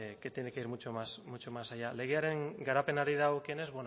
que tiene que ir mucho más allá legearen garapenari dagokienez